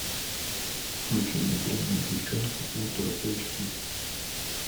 включи мне дрянные девчонки ультра эйч ди